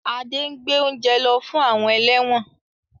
Ade ngbé ounje ló fún àwọn eléwòn